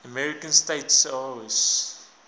american states oas